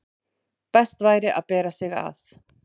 best væri að bera sig að.